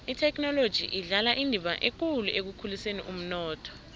ithekhinoloji idlala indima ekulu ekukhuliseni umnotho